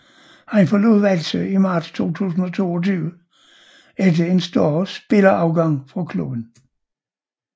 Han forlod Hvalsø i marts 2022 efter en større spillerafgang fra klubben